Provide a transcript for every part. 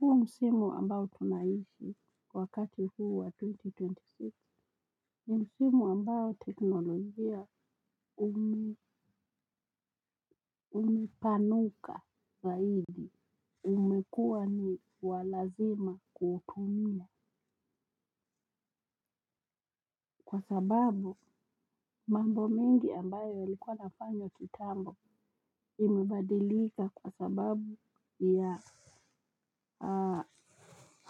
Huo msimu ambayo tunaishi wakati huu wa twenty twenty six, ni msimu ambao teknolojia umepanuka zaidi. Umekuwa ni wa lazima kuutumia. Kwa sababu mambo mengi ambayo yalikuwa yanafanywq kitambo imebadilika kwa sababu, ya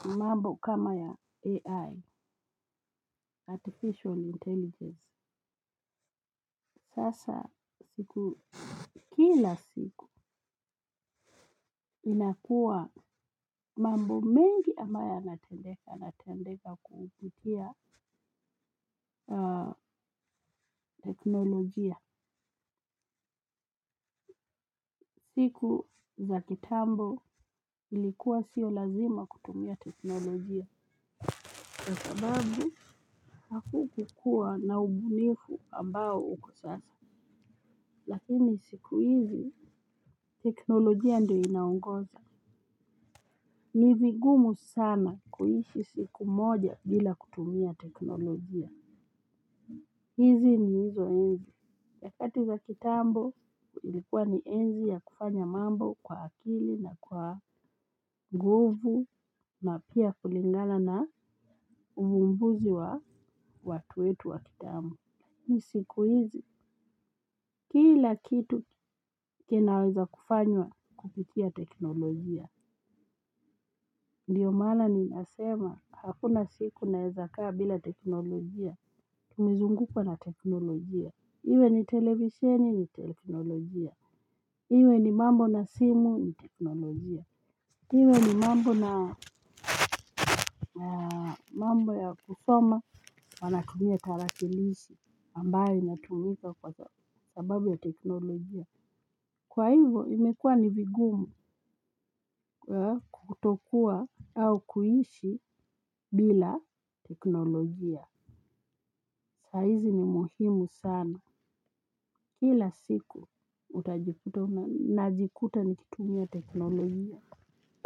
mambo kama ya AI. Artificial Intelligence. Sasa siku kila siku, inakua mambo mengi ambayo yanatendeka, yanatendeka kupitia teknolojia. Siku za kitambo ilikuwa sio lazima kutumia teknolojia. Kwa sababu, hakukukuwa na ubunifu ambao uko sasa. Lakini siku hizi, teknolojia ndio inaongoza. Ni vigumu sana kuishi siku moja bila kutumia teknolojia. Hizi ni hizo ensi, nyakati za kitambo ilikuwa ni enzi ya kufanya mambo kwa akili na kwa nguvu na pia kulingalana na uvumbuzi wa watu wetu wa kitambo. Hii siku hizi, kila kitu kinaweza kufanywa kupitia teknolojia. Ndio maana ninasema, hakuna siku naeza kaa bila teknolojia, tumezungukwa na teknolojia. Iwe ni televisheni, ni teknolojia. Iwe ni mambo na simu, ni teknolojia. Iwe ni mambo na mambo ya kusoma, wanatumia tarakilishi ambayo inatumika kwa sababu ya teknolojia. Kwa hivyo imekuwa ni vigumu kutokuwa au kuishi bila teknolojia. Saa hizi ni muhimu sana. Kila siku utajikuta najikuta nikitumia teknolojia.